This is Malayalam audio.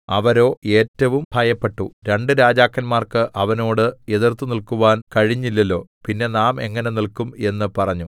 അവരോ ഏറ്റവും ഭയപ്പെട്ടു രണ്ടു രാജാക്കന്മാർക്ക് അവനോട് എതിർത്തുനിൽക്കുവാൻ കഴിഞ്ഞില്ലല്ലോ പിന്നെ നാം എങ്ങനെ നില്ക്കും എന്ന് പറഞ്ഞു